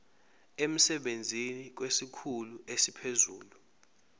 emsebenzini kwesikhulu esiphezulu